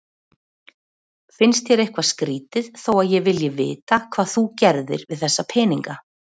Finnst þér eitthvað skrýtið þó að ég vilji vita hvað þú gerðir við þessa peninga?